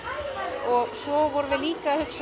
svo vorum við líka að hugsa